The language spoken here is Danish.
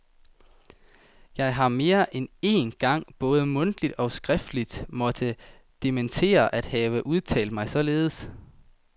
Jeg har mere end én gang både mundtligt og skriftligt måtte dementere at have udtalt mig således.